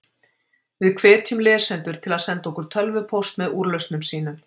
Við hvetjum lesendur til að senda okkur tölvupóst með úrlausnum sínum.